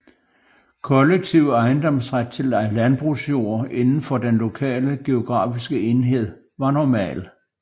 Kollektiv ejendomsret til landbrugsjord inden for den lokale geografiske enhed var normal